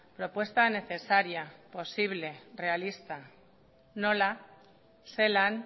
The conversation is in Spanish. propuesta necesaria posible realista nola zelan